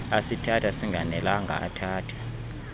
asithatha singanelanga athatha